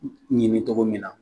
Ni me cogo min na